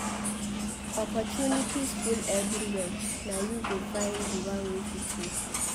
Opportunities full everywhere na you go find di one wey fit you.